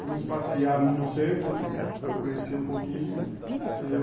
Fomos passear no centro, conhecer um pouquinho.